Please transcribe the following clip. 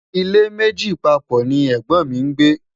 ilé méjì papọ̀ ní ègbón mí ngbe